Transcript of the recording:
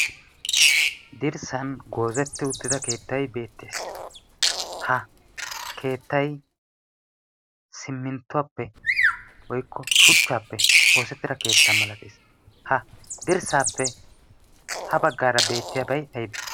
Dirssan goozeti uttida keettay beettees. ha keettay shuchchappe woykko siminttuwappe oosetidabaa masatees. ha dirssappe ha baggara beetiyaabay aybbe?